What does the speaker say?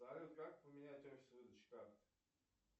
салют как поменять офис выдачи карты